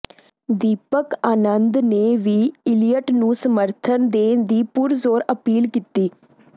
ਦੀਪਕ ਆਨੰਦ ਨੇ ਵੀ ਈਲੀਅਟ ਨੂੰ ਸਮਰੱਥਨ ਦੇਣ ਦੀ ਪੁਰਜ਼ੋਰ ਅਪੀਲ ਕੀਤੀ